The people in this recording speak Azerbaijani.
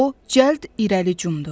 O cəld irəli cumdu.